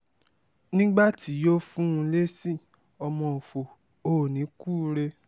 nígbà tí yóò fún un lésì ọmọ ọ̀fọ̀ o ò ní kúure